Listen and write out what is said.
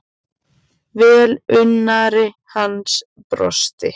Velunnari hans brosti.